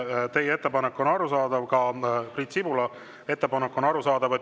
Teie ettepanek on arusaadav, ka Priit Sibula ettepanek on arusaadav.